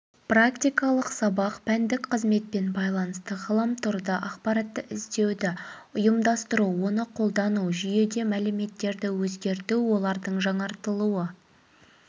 практикалық сабақ пәндік қызметпен байланысты ғаламторда ақпаратты іздеуді ұйымдастыру оны қолдану жүйеде мәліметтерді өзгерту олардың жаңартылуы